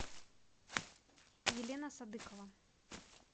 елена садыкова